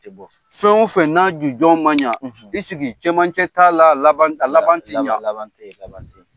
Fɛn o fɛn n'a jujɔn man ɲɛ i sigi cɛmancɛ t'ala a laban, a laban tɛ ɲɛ.